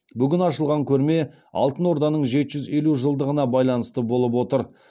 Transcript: бүгін ашылған көрме алтын орданың жеті жүз елу жылдығына байланысты болып отыр